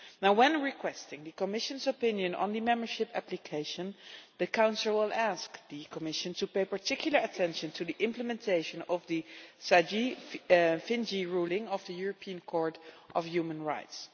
When requesting the Commission's opinion on the membership application, the Council will ask the Commission to pay particular attention to the implementation of the Sejdić-Finci ruling of the European Court of Human Rights.